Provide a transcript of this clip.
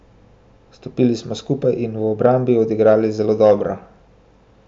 Stopili smo skupaj in v obrambi odigrali zelo dobro.